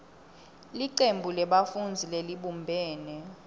licembu lebafundzi lelibumbene